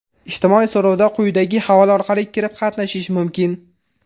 Ijtimoiy so‘rovda quyidagi havola orqali kirib qatnashish mumkin.